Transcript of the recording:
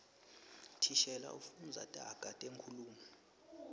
thishela ufundza taga tenkhulumo